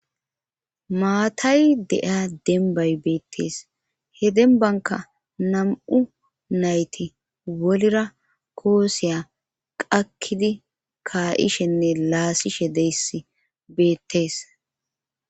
Maatay dea denbay beettees he denbanka nam'u nayti wolira kooseya qakkidi kaa'ishenne laasishe deys beettees.